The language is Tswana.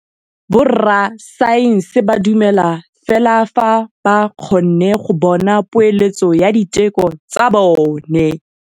Borra saense ba dumela fela fa ba kgonne go bona poeletsô ya diteko tsa bone.